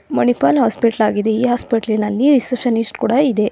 Manipal hospital ಆಗಿದೆ ಈ ಹಾಸ್ಪಿಟ್ಲಿನಲ್ಲಿ ರಿಸೆಪ್ಷನಿಸ್ಟ್ ಕೂಡ ಇದೆ.